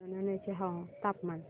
जुनवणे चे तापमान